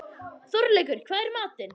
Þorleikur, hvað er í matinn?